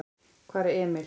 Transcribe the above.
Hvar er Emil?